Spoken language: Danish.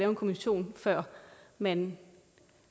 en kommission før man